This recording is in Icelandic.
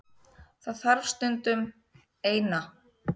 Það þarf stundum. Eina.